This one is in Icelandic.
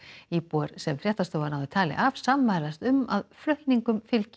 íbúar sem fréttastofa náði tali af sammælast um að flutningum fylgi